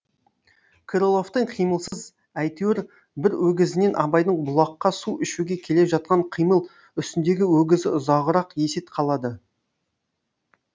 крыловтың қимылсыз әйтеуір бір өгізінен абайдың бұлаққа су ішуге келе жатқан қимыл үстіндегі өгізі ұзағырақ есет қалады